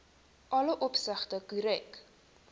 alle opsigte korrek